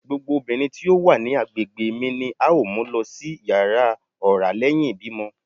Gbogbo obinrin ti o wa ni agbegbe mi ni ao mu lọ si yara ọra lẹhin ibimọ